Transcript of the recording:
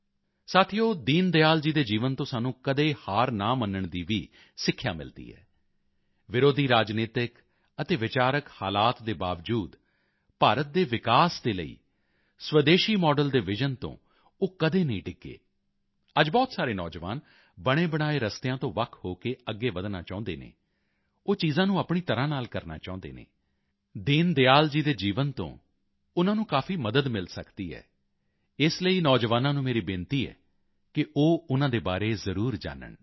ਸਾਥੀਓ ਦੀਨ ਦਿਆਲ ਜੀ ਦੇ ਜੀਵਨ ਤੋਂ ਸਾਨੂੰ ਕਦੇ ਹਾਰ ਨਾ ਮੰਨਣ ਦੀ ਵੀ ਸਿੱਖਿਆ ਮਿਲਦੀ ਹੈ ਵਿਰੋਧੀ ਰਾਜਨੀਤਕ ਅਤੇ ਵਿਚਾਰਕ ਹਲਾਤ ਦੇ ਬਾਵਜੂਦ ਭਾਰਤ ਦੇ ਵਿਕਾਸ ਦੇ ਲਈ ਸਵਦੇਸ਼ੀ ਮਾਡਲ ਦੇ ਵਿਜ਼ਨ ਤੋਂ ਉਹ ਕਦੀ ਡਿੱਗੇ ਨਹੀਂ ਅੱਜ ਬਹੁਤ ਸਾਰੇ ਨੌਜਵਾਨ ਬਣੇਬਣਾਏ ਰਸਤਿਆਂ ਤੋਂ ਵੱਖ ਹੋ ਕੇ ਅੱਗੇ ਵਧਣਾ ਚਾਹੁੰਦੇ ਹਨ ਉਹ ਚੀਜ਼ਾਂ ਨੂੰ ਆਪਣੀ ਤਰ੍ਹਾਂ ਨਾਲ ਕਰਨਾ ਚਾਹੁੰਦੇ ਹਨ ਦੀਨ ਦਿਆਲ ਜੀ ਦੇ ਜੀਵਨ ਤੋਂ ਉਨ੍ਹਾਂ ਨੂੰ ਕਾਫੀ ਮਦਦ ਮਿਲ ਸਕਦੀ ਹੈ ਇਸ ਲਈ ਨੌਜਵਾਨਾਂ ਨੂੰ ਮੇਰਾ ਬੇਨਤੀ ਹੈ ਕਿ ਉਹ ਉਨ੍ਹਾਂ ਦੇ ਬਾਰੇ ਜ਼ਰੂਰ ਜਾਨਣ